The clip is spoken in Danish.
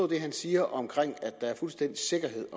det han siger om at der er fuldstændig sikkerhed